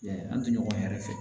Yan an tɛ ɲɔgɔn yɛrɛ fɛ